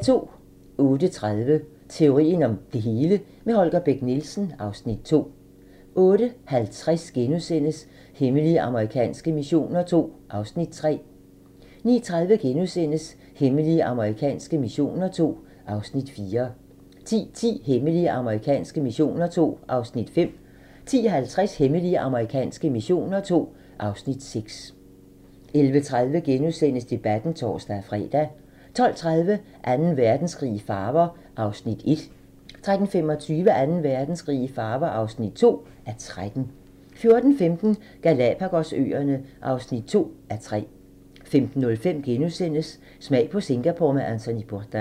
08:30: Teorien om det hele - med Holger Bech Nielsen (Afs. 2) 08:50: Hemmelige amerikanske missioner II (Afs. 3)* 09:30: Hemmelige amerikanske missioner II (Afs. 4)* 10:10: Hemmelige amerikanske missioner II (Afs. 5) 10:50: Hemmelige amerikanske missioner II (Afs. 6) 11:30: Debatten *(tor-fre) 12:30: Anden verdenskrig i farver (1:13) 13:25: Anden Verdenskrig i farver (2:13) 14:15: Galapagos-øerne (2:3) 15:05: Smag på Singapore med Anthony Bourdain *